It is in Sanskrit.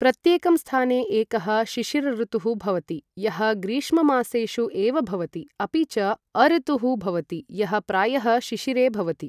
प्रत्येकं स्थाने एकः शिशिरऋतुः भवति, यः ग्रीष्ममासेषु एव भवति, अपि च अऋतुः भवति, यः प्रायः शिशिरे भवति ।